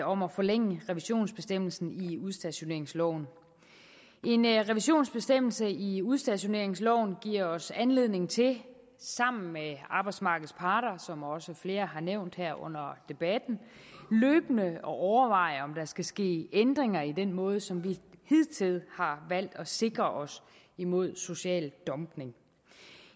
om at forlænge revisionsbestemmelsen i udstationeringsloven en revisionsbestemmelse i udstationeringsloven giver os anledning til sammen med arbejdsmarkedets parter som også flere har nævnt her under debatten løbende at overveje om der skal ske ændringer i den måde som vi hidtil har valgt for at sikre os mod social dumpning